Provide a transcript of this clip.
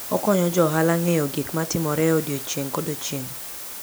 Okonyo jo ohala ng'eyo gik matimore e odiechieng' kodiechieng'.